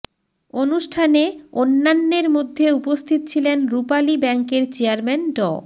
অনুষ্ঠানে অন্যান্যের মধ্যে উপস্থিত ছিলেন রূপালী ব্যাংকের চেয়ারম্যান ড